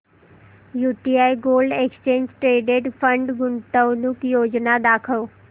UTI gold exchange traded fund गुंतवणूक योजना दाखव